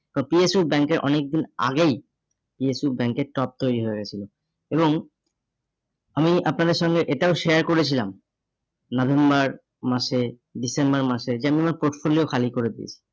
তো PHU ব্যাঙ্কের অনেকদিন আগেই PSUbank এর top তৈরী হয়ে গেছিলো এবং আমি আপনাদের সঙ্গে এটাও share করেছিলাম November মাসে December মাসে যেমনি হোক portfolio খালি করে দিন।